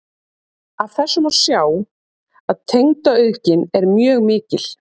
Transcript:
af þessu má sjá að tegundaauðgin er mjög mikil